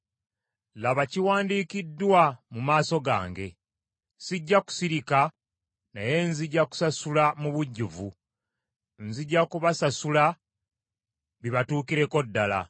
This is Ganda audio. “Laba kiwandiikiddwa mu maaso gange. Sijja kusirika naye nzija kusasula mu bujjuvu, nzija kubasasula bibatuukireko ddala;